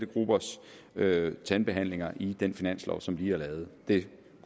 gruppers tandbehandlinger i den finanslov som vi har lavet det